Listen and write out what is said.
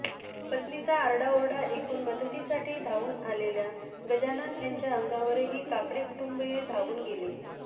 पत्नीचा आरडाओरडा ऐकून मदतीसाठी धावून आलेल्या गजानन यांच्या अंगावरही काकडे कुटुंबीय धावून गेले